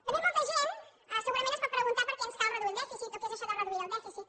també molta gent segurament es pot preguntar per què ens cal reduir el dèficit o què és això de reduir el dèficit